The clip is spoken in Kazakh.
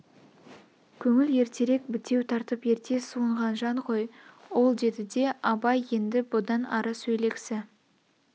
көңіл ертерек бітеу тартып ерте суынған жан ғой ол деді де абай енді бұдан ары сөйлегсі